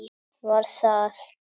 Var það